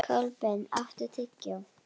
Kolbeinn, áttu tyggjó?